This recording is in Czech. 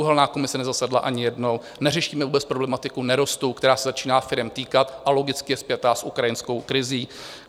Uhelná komise nezasedla ani jednou, neřešíme vůbec problematiku nerostů, která se začíná firem týkat, a logicky je spjatá s ukrajinskou krizí.